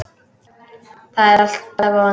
Það er alltaf von.